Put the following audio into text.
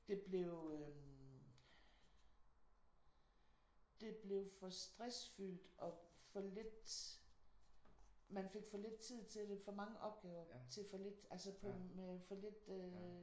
Det blev øh det blev for stressfyldt og for lidt man fik for lidt tid til det. For mange opgaver til for lidt altså med for lidt øh